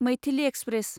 Maithili express